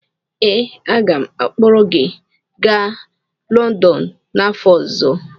ee, aga m akpọrọ gị gaa London n’afọ ọzọ